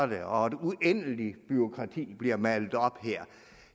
det og et uendeligt bureaukrati bliver malet op her